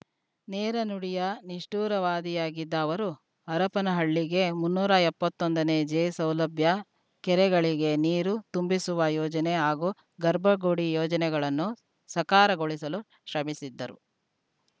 ನೇರ ನುಡಿಯ ನಿಷ್ಠುರವಾದಿಯಾಗಿದ್ದ ಅವರು ಹರಪನಹಳ್ಳಿಗೆ ಮುನ್ನೂರ ಎಪ್ಪತ್ತೊಂದು ಜೆ ಸೌಲಭ್ಯ ಕೆರೆಗಳಿಗೆ ನೀರು ತುಂಬಿಸುವ ಯೋಜನೆ ಹಾಗೂ ಗರ್ಭಗುಡಿ ಯೋಜನೆಗಳನ್ನು ಸಕಾರಗೊಳಿಸಲು ಶ್ರಮಿಸಿದ್ದರು